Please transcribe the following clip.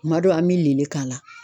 Kuma dɔ an mi lili k'a la